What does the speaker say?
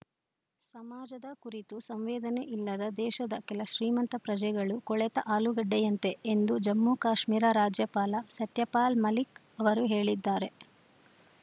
ಸಮಾಜದ ಕುರಿತು ಸಂವೇದನೆ ಇಲ್ಲದ ದೇಶದ ಕೆಲ ಶ್ರೀಮಂತ ಪ್ರಜೆಗಳು ಕೊಳೆತ ಆಲೂಗಡ್ಡೆಯಂತೆ ಎಂದು ಜಮ್ಮುಕಾಶ್ಮೀರ ರಾಜ್ಯಪಾಲ ಸತ್ಯಪಾಲ್‌ ಮಲೀಕ್‌ ಅವರು ಹೇಳಿದ್ದಾರೆ